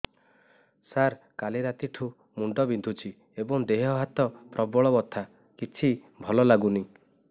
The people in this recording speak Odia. ସାର କାଲି ରାତିଠୁ ମୁଣ୍ଡ ବିନ୍ଧୁଛି ଏବଂ ଦେହ ହାତ ପ୍ରବଳ ବଥା କିଛି ଭଲ ଲାଗୁନି